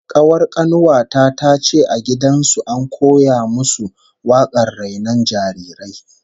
Kawar kanuwa ta tace a gidan su an koya musu wakar rainon jarirai